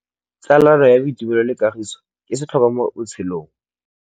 Tsalano ya boitumelo le kagiso ke setlhôkwa mo botshelong.